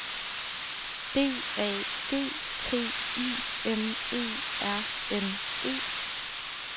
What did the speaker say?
D A G T I M E R N E